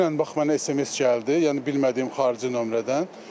Dünən bax mənə SMS gəldi, yəni bilmədiyim xarici nömrədən.